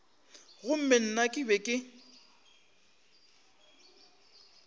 gomme nna ke be ke